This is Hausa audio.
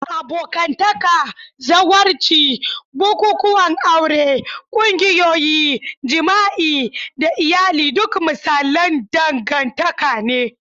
Abokantaka, zawarci, bukukuwan aure, ƙungiyoyi, jima'i, da iyali duk misalan dangantaka ne.